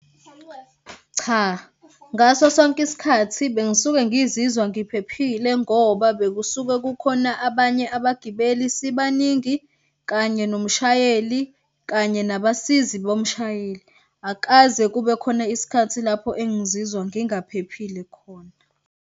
Cha, ngaso sonke isikhathi bengisuke ngizizwa ngiphephile ngoba bekusuke kukhona abanye abagibeli sibaningi, kanye nomshayeli, kanye nabasizi bomshayeli. Akukaze kube khona isikhathi lapho engizizwa ngingaphephile khona.